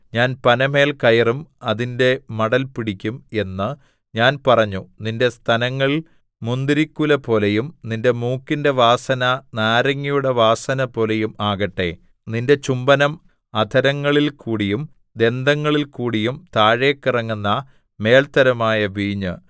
ഞാൻ പനമേൽ കയറും അതിന്റെ മടൽ പിടിക്കും എന്ന് ഞാൻ പറഞ്ഞു നിന്റെ സ്തനങ്ങൾ മുന്തിരിക്കുലപോലെയും നിന്റെ മൂക്കിന്റെ വാസന നാരങ്ങയുടെ വാസനപോലെയും ആകട്ടെ നിന്റെ ചുംബനം അധരങ്ങളില്‍ക്കൂടിയും ദന്തങ്ങളില്‍ക്കൂടിയും താഴെക്കിറങ്ങുന്ന മേല്ത്തരമായ വീഞ്ഞ്